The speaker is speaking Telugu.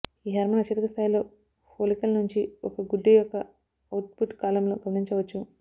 ఈ హార్మోన్ అత్యధిక స్థాయిలో ఫొలికల్ నుంచి ఒక గుడ్డు యొక్క అవుట్పుట్ కాలంలో గమనించవచ్చు